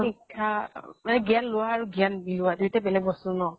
শিক্ষা আ জ্ঞান লোৱা আৰু জ্ঞান বিলোৱা দুইটাই বেলেগ বস্তু ন।